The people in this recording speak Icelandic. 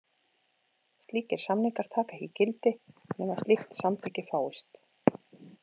Slíkir samningar taka ekki gildi nema slíkt samþykki fáist.